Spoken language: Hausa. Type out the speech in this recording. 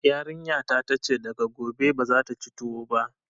Yarinya ta ta ce daga gobe bazata ci tuwo ba